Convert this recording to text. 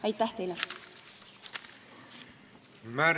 Aitäh teile!